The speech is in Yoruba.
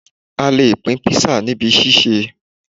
A lè pín kpisa níbi ṣíṣe